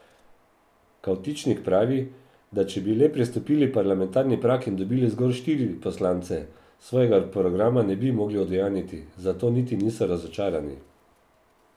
Kavtičnik pravi, da če bi le prestopili parlamentarni prag in dobili zgolj štiri poslance, svojega programa ne bi mogli udejanjiti, zato niti niso razočarani.